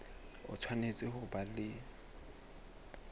o tshwanetse ho ba le